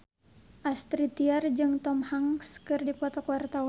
Astrid Tiar jeung Tom Hanks keur dipoto ku wartawan